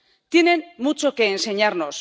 tienen mucho que enseñarnos.